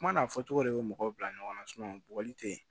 Kuma n'a fɔcogo de bɛ mɔgɔw bila ɲɔgɔn na bɔgɔli te yen